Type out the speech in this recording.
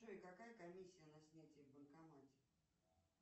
джой какая комиссия на снятие в банкомате